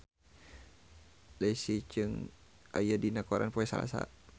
Leslie Cheung aya dina koran poe Salasa